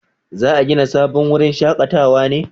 za a gina sabon wurin shakatawa ne?